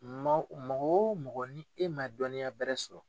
Mɔgɔ wo mɔgɔ ni e ma dɔnniya bɛrɛ sɔrɔ.